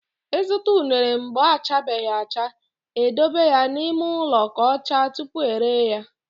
I zụta unere mgbe ọ chabeghị acha, e dobe ya n'ime ụlọ ka ọ chaa tupu e ree ya.